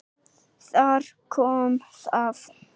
Þar kom það.